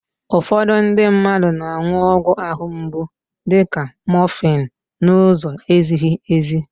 Ụfọdụ ndị mmadụ na-an̄ụ ọgwụ àhụ́ mgbu dịka mọfịn n'ụzọ ezighi èzí.